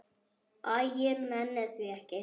Æ, ég nenni því ekki.